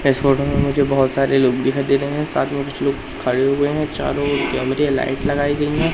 इस फोटो में मुझे बहोत सारे लोग दिखाई दे रहे हैं साथ में कुछ लोग खड़े हुए हैं चारों ओर कैमेरे लाइट लगाई गई हैं।